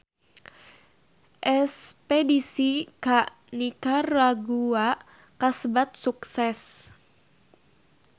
Espedisi ka Nikaragua kasebat sukses